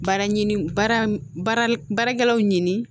Baara ɲini baara baarakɛlaw ɲini